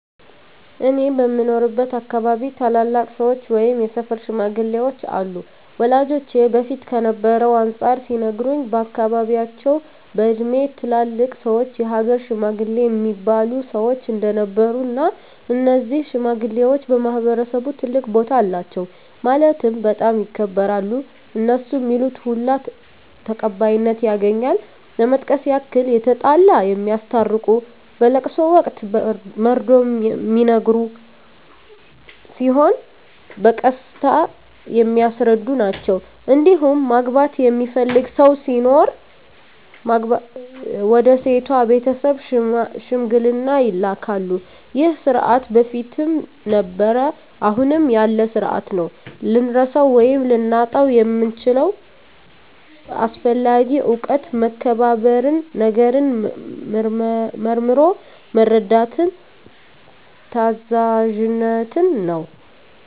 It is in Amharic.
እኔ በምኖርበት አካባቢ ታላላቅ ሰዎች ወይም የሰፈር ሽማግሌዎች አሉ ወላጆቼ በፊት ከነበረው አንፃር ሲነግሩኝ በአካባቢያቸው በእድሜ ትላልቅ ሰዎች የሀገር ሽማግሌ እሚባሉ ሰዎች እንደነበሩ እና እነዚህ ሽማግሌዎች በማህበረሰቡ ትልቅ ቦታ አላቸው ማለትም በጣም ይከበራሉ እነሡ ሚሉት ሁሉ ተቀባይነት ያገኛል ለመጥቀስ ያክል የተጣላ የሚያስታርቁ በለቅሶ ወቅት መርዶ ሚነገር ሲሆን በቀስታ የሚያስረዱ ናቸዉ እንዲሁም ማግባት የሚፈልግ ሰው ሲኖር ወደ ሴቷ ቤተሰብ ሽምግልና ይላካሉ ይህ ስርዓት በፊትም ነበረ አሁንም ያለ ስርአት ነው። ልንረሳው ወይም ልናጣው የምንችለው አስፈላጊ እውቀት መከባበርን፣ ነገርን መርምሮ መረዳትን፣ ታዛዝነትን ነው።